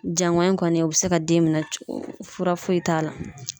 Jangɔyin kɔni u bɛ se ka den minɛ cogo foyi t'a la.